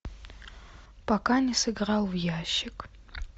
пока не сыграл в ящик